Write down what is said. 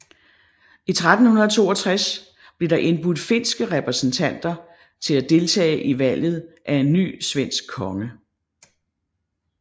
I 1362 blev der indbudt finske repræsentanter til at deltage i valget af en ny svensk konge